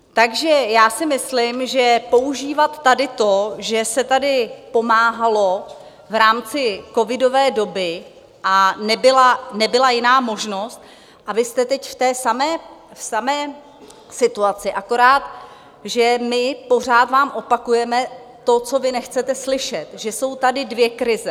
Takže já si myslím, že používat tady to, že se tady pomáhalo v rámci covidové doby, a nebyla jiná možnost, a vy jste teď v té samé situaci, akorát že my pořád vám opakujeme to, co vy nechcete slyšet, že jsou tady dvě krize.